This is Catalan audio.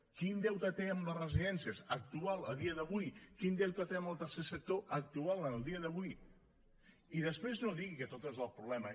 quin deute té amb les residències actual a dia d’avui quin deute té amb el tercer sector actual en el dia d’avui i després no digui que tot és el problema